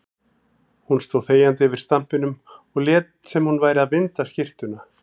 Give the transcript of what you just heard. Hún stóð þegjandi yfir stampinum og lét sem hún væri að vinda skyrtuna.